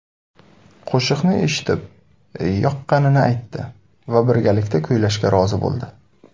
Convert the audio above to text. Qo‘shiqni eshitib yoqqanini aytdi va birgalikda kuylashga rozi bo‘ldi.